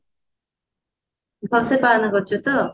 ଭଲସେ ପାଳନ କରିଛୁ ତ